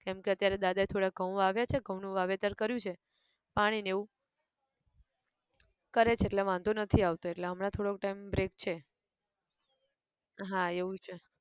કેમકે અત્યારે દાદા એ થોડા ઘઉં વાવ્યા છે ઘઉં નું વાવેતર કર્યું છે પાણી ન એવું કરે છે એટલે વાંધો નથી આવતો એટલે હમણાં થોડોક time break છે હા એવું છે